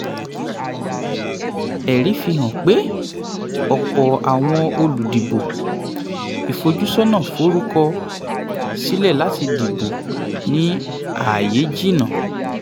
ẹ̀rí fihàn pé ọ̀pọ̀ àwọn olùdìbò ìfojúsọ́nà forúkọ sílẹ̀ láti dìbò ní ààyè jìnnà.